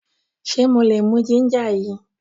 Ṣe mo lè mú ginger yìí?